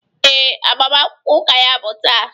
Ee, agbamakwụkwọ ụka ya bụ taa.